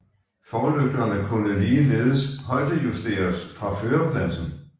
Forlygterne kunne ligeledes højdejusteres fra førerpladsen